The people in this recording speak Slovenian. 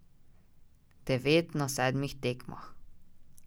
Devet na sedmih tekmah.